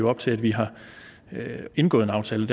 op til at vi har indgået en aftale